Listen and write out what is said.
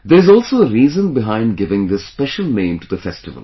There is also a reason behind giving this special name to the festival